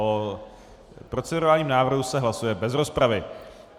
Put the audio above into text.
O procedurálním návrhu se hlasuje bez rozpravy.